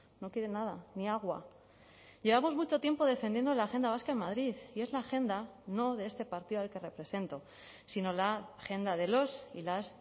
no quieren nada ni agua llevamos mucho tiempo defendiendo la agenda vasca en madrid y es la agenda no de este partido al que represento sino la agenda de los y las